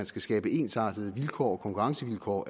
skal skabes ensartede konkurrencevilkår